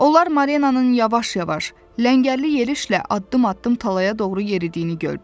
Onlar Marianın yavaş-yavaş, ləngərli yerişlə addım-addım talaya doğru yeridiyini gördülər.